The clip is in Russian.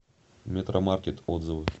метромаркет отзывы